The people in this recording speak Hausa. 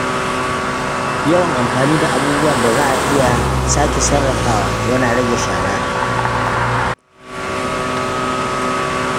Yawan amfani da abubuwan da za a iya sake sarrafawa yana rage shara.